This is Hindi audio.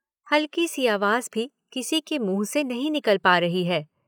हल्की सी आवाज भी किसी के मुंह से नहीं निकल पा रही है।